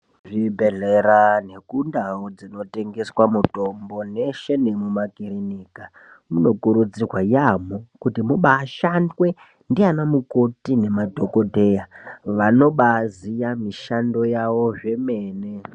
Zvibhedhlera nekundau dzinotengese mitombo yeshe nemakirinika munokurudzirwa yaamho kuti mubaashandwe ndianamukoti nemadhokodheya vanobaaziya mishando yavo zvemene.